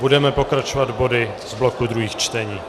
Budeme pokračovat body z bloku druhých čtení.